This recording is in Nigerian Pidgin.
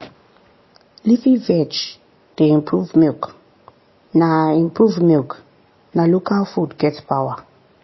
leafy veg dey improve milk na improve milk na local food get power.